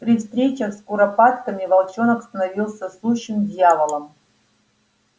при встречах с куропатками волчонок становился сущим дьяволом